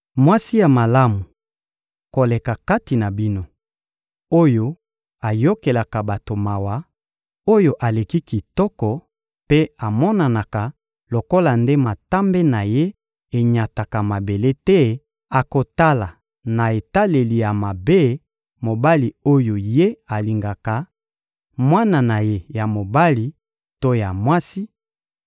Mwasi ya malamu koleka kati na bino, oyo ayokelaka bato mawa, oyo aleki kitoko mpe amonanaka lokola nde matambe na ye enyataka mabele te, akotala na etaleli ya mabe mobali oyo ye alingaka, mwana na ye ya mobali to ya mwasi,